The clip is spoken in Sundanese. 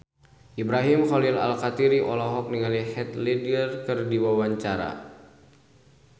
Ibrahim Khalil Alkatiri olohok ningali Heath Ledger keur diwawancara